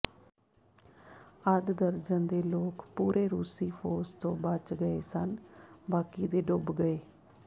ਅੱਧ ਦਰਜਨ ਦੇ ਲੋਕ ਪੂਰੇ ਰੂਸੀ ਫੌਜ ਤੋਂ ਬਚ ਗਏ ਸਨ ਬਾਕੀ ਦੇ ਡੁੱਬ ਗਏ